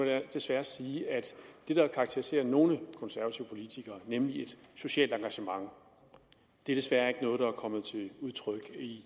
jeg desværre sige at det der karakteriserer nogle konservative politikere nemlig et socialt engagement desværre ikke noget der er kommet til udtryk i